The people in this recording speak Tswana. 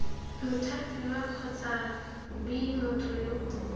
mothapiwa kgotsa b motho yo